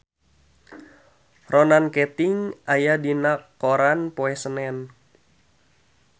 Ronan Keating aya dina koran poe Senen